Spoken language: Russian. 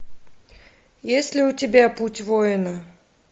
есть ли у тебя путь воина